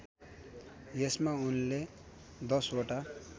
यसमा उनले दशवटा